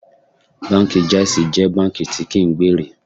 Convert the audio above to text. Báńkì Jáísí jẹ́ báńkì tí kí ń gbèrè.